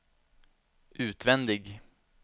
utvändig